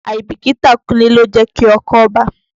Àìbìkítà Kúnlé ló jẹ́ kí ọkọ́ bàá.